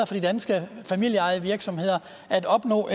for de danske familieejede virksomheder at opnå